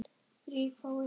Þeir geta synt.